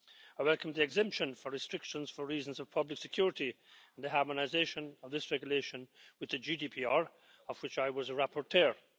I welcome the exemption for restrictions for reasons of public security and the harmonisation of this regulation with the GDPR, of which I was a rapporteur.